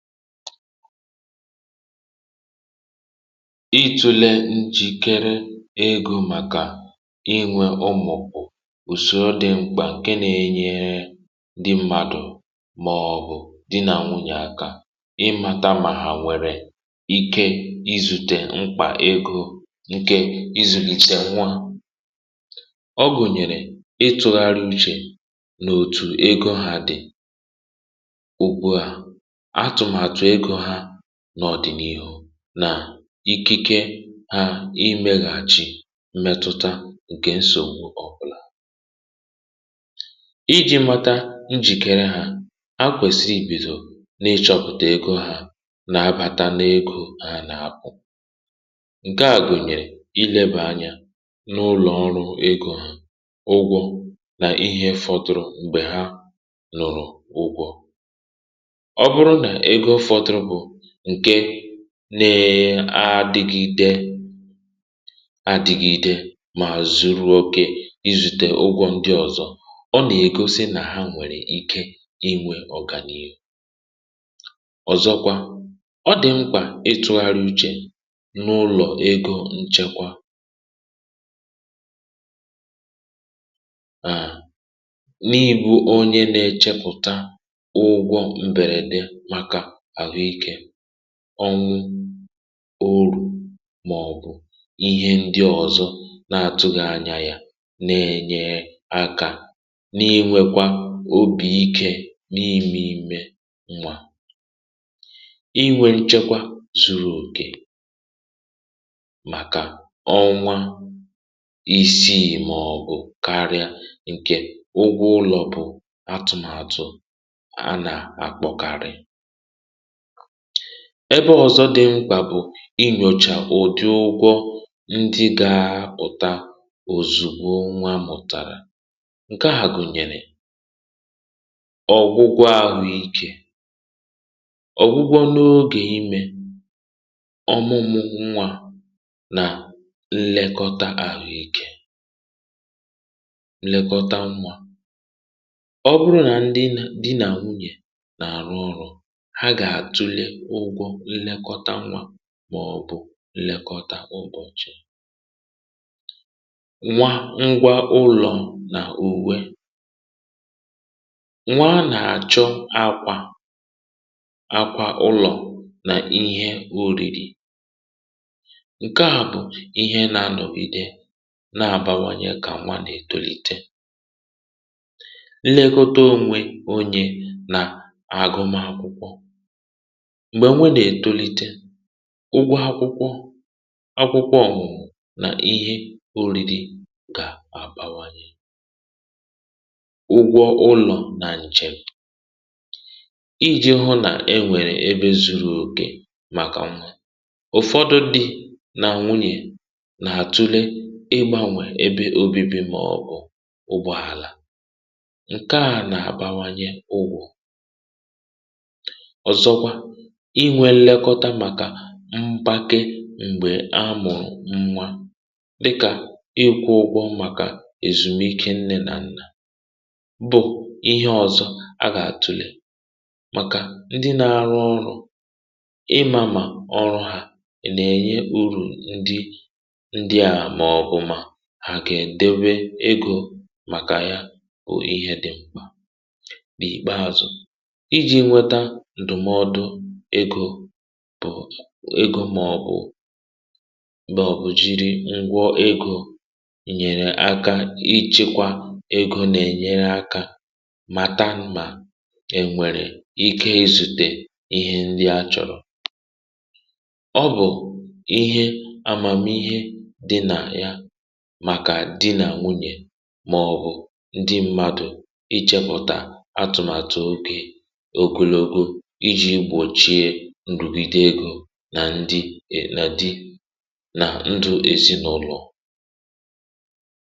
itùle njìkere egȯ màkà inwė ụmụ̀kpụ̀ bu ùsoro dị mkpà ǹke nȧ-ėnyėė dí mmàdụ̀ màọ̀bụ̀ di nà nwùnyè aka ịmàtamà ha nwere ike izùtè mkpà egȯ ǹkè izùkìtè nwa ọ bụ̀nyèrè ịtụ̇gharị uchè nà òtù ego ha dị̀ n’ọ̀dị̀nihu nà ikike ha imė gà-achị m̀mẹtụta ǹkè nsògbu ọ̀bụlà iji̇ mata njìkere ha a kwèsì ibìdò n’ịchọ̀pụ̀tà egȯ ha nà-abȧta n’egȯ ha nà-apụ̀ ǹke à gụ̀nyèrè ilėbà anya n’ụlọ̀ ọrụ̇ egȯ ha ụgwọ̇ nà ihe fọtụ̀rụ̀ m̀gbè ha nụrụ ụgwọ̇ ǹke ne-adịgide adị̇gide mà zuru òkè izùtè ụgwọ̇ ndị ọ̀zọ ọ nà-ègosi nà ha nwèrè ike inwė ọ̀gànyènyè ọ̀zọkwa ọ dị̀ mkpà ịtụ̇gharị uchè n’ụlọ̀ ego ǹchekwa ànị bụ onye na-echepùta ụgwọ m̀bèrène onwe orù màọ̀bụ̀ ihe ndị ọzọ̇ na-atụghị̇ anya yȧ na-enye aka n’ịnwėkwa obì ikė n’imė imė nwa inwė chekwaa zuru ògè màkà ọnwa isiì màọ̀bụ̀ karịa ǹkè ụgwọ ụlọ̀ bụ atụ̀màtụ̀ a nà-akpọkarị ebe ọ̀zọ dị mkpà bụ̀ inyòchà ụ̀dị ụgwọ ndị ga-apụ̀ta òzùgbo nwa mụ̀tara ǹke à gụ̀nyèrè ọ̀ bụgwa ahụ ikė ọ̀ bụgwa n’ogè imė ọmụmụ nwa nà nlekọta àhụ ikė nlekọta nwa ọ bụrụ nà ndị nà di nà nwunyè nlekọta nwa màọbụ̀ nlekọta ụbọ̇chị̇ nwa ngwa ụlọ̀ nà uwe nwa nà-àchụ akwȧ akwȧ ụlọ̀ nà ihe urìrì ǹke à bụ̀ ihe nà-anọ̀ ide na-àbawanye kà nwa nà-ètolite nlekọta ònwe onye nà àgụ m akwụkwọ ụgwọ akwụkwọ akwụkwọ òghù nà ihe uli di gà àbawanye ụgwọ ụlọ̀ nà nche iji̇ hụ nà e nwèrè ebe zuru òkè màkà nwà ụ̀fọdụ di nà nwunyè nà-àtule ebeanwè ebe obibi màọbụ̀ ụgbọ̀ àlà ǹke à nà-àbawanye ugwù i nwẹ lekọta màkà mpake m̀gbè a mụ̀rụ̀ nnwa dịkà ịkwụ ụgbọ màkà èzùmike nne nà nnà bụ̀ ihe ọzọ a gà àtùle màkà ndị na-arụ ọrụ̇ ịmȧmà ọrụ̇ ha nà ẹ̀nyẹ urù ndị ndị à mọọ bụ̀ mà hà gà ẹ̀dẹwẹ egȯ màkà ya bụ̀ ihe dị mkpà n’ikpeazụ̀ bụ̀ egȯ màọ̀bụ̀ m̀bàọ̀bụ̀ jiri ngwọ egȯ nyèrè aka, ichekwa egȯ nà-ènyere aka ma ta nà e nwèrè ike izùtè ihe nri̇ a chọ̀rọ̀ ọ bụ̀ ihe amàmihe dị nà ya màkà dị nà nwunyè màọ̀bụ̀ ndị mmadụ̀ ichėpụ̀tà atụ̀màtụ̀ ogè nà ndị ènàdị nà ndụ èzinụ̇lọ̀